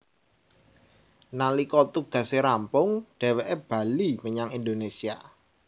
Nalika tugase rampung dheweké bali menyang Indonésia